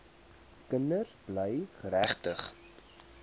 kinders bly geregtig